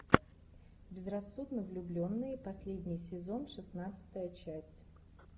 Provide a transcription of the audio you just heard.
безрассудно влюбленные последний сезон шестнадцатая часть